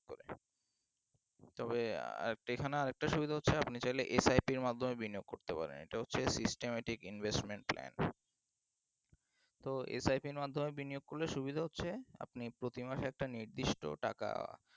তবে আহ এখানে আর একটা সুবিধা হচ্ছে mutual এ SIP এর মাধ্যমে বিনিয়োগ করতে পারেন এটা হচ্ছে systematic investment plan তো SIP এর মাধ্যমে বিনিয়োগ করলে সুবিধা হচ্ছে আপনি প্রতি মাসে একটা নির্দিষ্ট টাকা